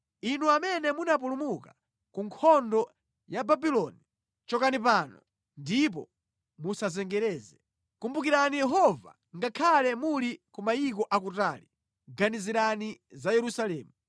Inu amene munapulumuka ku nkhondo ya Babuloni, chokani pano ndipo musazengereze! Kumbukirani Yehova ngakhale muli ku mayiko akutali, ganizirani za Yerusalemu.”